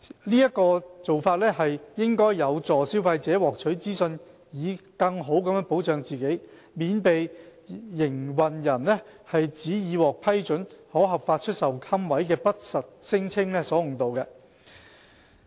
這做法有助消費者獲取資訊以更好保障自己，免被營辦人指已獲批准可合法出售龕位的不實聲稱所誤導。